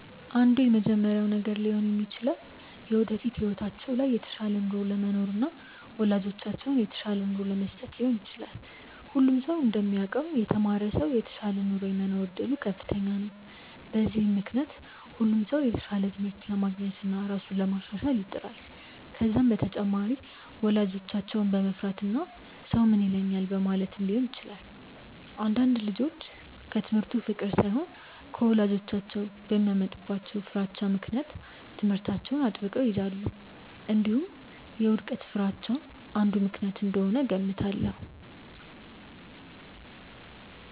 አንዱ የመጀመሪያው ነገር ሊሆን የሚችለው የወደፊት ህይወታቸው ላይ የተሻለ ኑሮ ለመኖርና ወላጆቻቸውን የተሻለ ኑሮ ለመስጠት ሊሆን ይችላል። ሁሉም ሰው እንደሚያውቀው የተማረ ሰው የተሻለ ኑሮ የመኖር እድሉ ከፍተኛ ነው። በዚህም ምክንያት ሁሉም ሰው የተሻለ ትምህርት ለማግኘትና ራሱን ለማሻሻል ይጥራል። ከዛም በተጨማሪ ወላጆቻቸውን በመፍራትና ሰው ምን ይለኛል በማለትም ሊሆን ይችላል። አንዳንድ ልጆች ከትምህርቱ ፍቅር ሳይሆን ወላጆቻቸው በሚያመጡባቸው ፍራቻ ምክንያት ትምህርታቸውን አጥብቀው ይይዛሉ። እንዲሁም የውድቀት ፍርሃቻ አንዱ ምክንያት እንደሆነ እገምታለሁ።